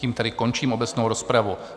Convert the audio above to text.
Tím tedy končím obecnou rozpravu.